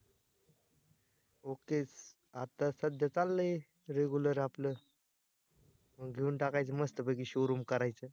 okay च आता सध्या चाललंय regular आपल घेऊन टाकायची मस्त पैकी showroom करायच